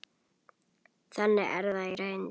Þannig er það í reynd.